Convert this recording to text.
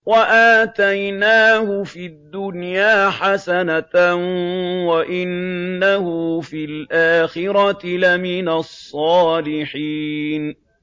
وَآتَيْنَاهُ فِي الدُّنْيَا حَسَنَةً ۖ وَإِنَّهُ فِي الْآخِرَةِ لَمِنَ الصَّالِحِينَ